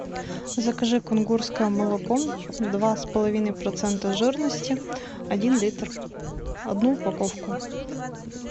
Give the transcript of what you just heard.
закажи кунгурское молоко два с половиной процента жирности один литр одну упаковку